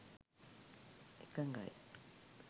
එකඟයි